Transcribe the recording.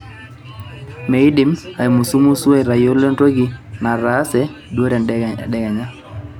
miindim aimusumusu atayiolo entoki nataase duo tedekenya